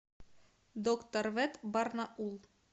доктор вет барнаул